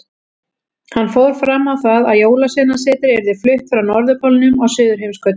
Hann fór fram á það að Jólasveinasetrið yrði flutt frá Norðurpólnum á Suðurheimskautið.